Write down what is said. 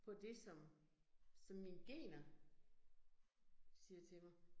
På det som, som mine gener siger til mig